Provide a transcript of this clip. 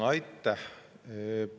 Aitäh!